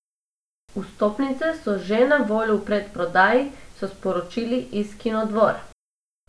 Vstopnice so že na voljo v predprodaji, so sporočili iz Kinodvora.